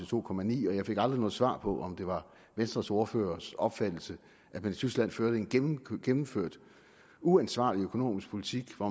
to ni og jeg fik aldrig noget svar på om det var venstres ordførers opfattelse at man i tyskland førte en gennemført gennemført uansvarlig økonomisk politik hvor